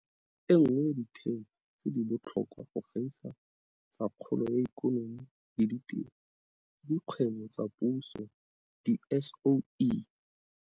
E nngwe ya ditheo tse di botlhokwa go gaisa tsa kgolo ya ikonomi le ditiro ke dikgwebo tsa puso, diSOE.